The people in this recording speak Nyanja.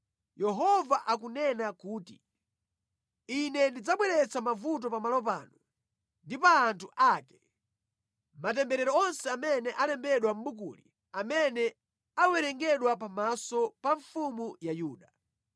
‘Yehova akunena kuti, Ine ndidzabweretsa mavuto pamalo pano ndi pa anthu ake, matemberero onse amene alembedwa mʼbukuli amene awerengedwa pamaso pa mfumu ya Yuda.